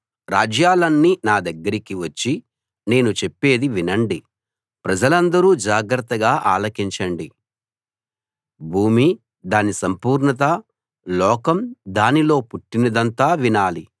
రాజ్యాలన్నీ నా దగ్గరికి వచ్చి నేను చెప్పేది వినండి ప్రజలందరూ జాగ్రత్తగా ఆలకించండి భూమీ దాని సంపూర్ణతా లోకం దానిలో పుట్టినదంతా వినాలి